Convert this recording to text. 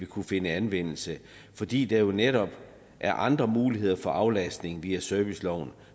kunne finde anvendelse fordi der jo netop er andre muligheder for aflastning via serviceloven